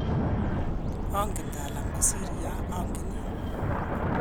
angen Talam kusir ya angenin